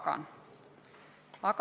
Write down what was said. Aitäh!